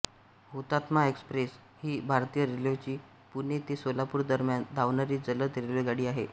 हुतात्मा एक्सप्रेस ही भारतीय रेल्वेची पुणे ते सोलापूर दरम्यान धावणारी जलद रेल्वेगाडी आहे